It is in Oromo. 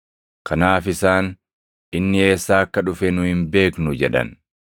Kanaaf isaan, “Inni eessaa akka dhufe nu hin beeknu” jedhan.